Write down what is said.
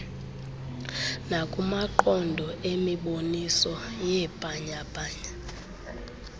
nakumaqonga emiboniso yeebhanyabhanya